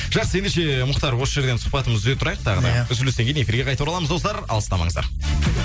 жақсы ендеше мұхтар осы жерден сұхбатымызды үзе тұрайық тағы да иә үзілістен кейін эфирге қайта ораламыз достар алыстамаңыздар